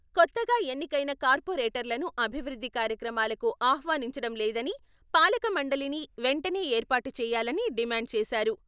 కొత్తగా ఎన్నికైన కార్పొరేటర్లను అభివృద్ధి కార్యక్రమాలకు ఆహ్వానించడంలేదని, పాలక మండలిని వెంటనే ఏర్పాటు చేయాలని డిమాండ్ చేశారు.